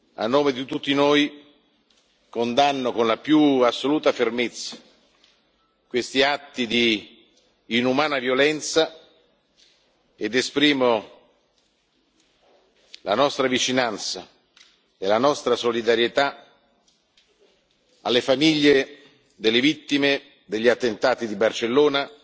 A nome di tutti noi, condanno con la più assoluta fermezza questi atti di inumana violenza ed esprimo la nostra vicinanza e la nostra solidarietà alle famiglie delle vittime degli attentati di Barcellona,